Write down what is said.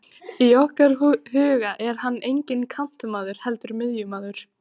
Í okkar huga er hann enginn kantmaður, heldur miðjumaður.